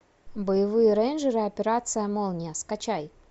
боевые рейнджеры операция молния скачай